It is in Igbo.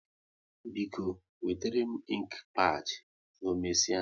Biko, wetere m inki pad na omesia